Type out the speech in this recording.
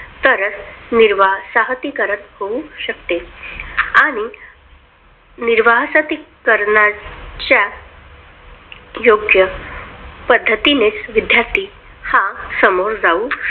तरच निर्वासाहतीकरण होऊ शकते. आणि निर्वासाहतीकरणाच्या योग्य पद्धतीने विद्यार्थी हा समोर जाऊ शकतो.